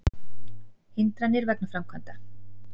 Hindranir vegna framkvæmda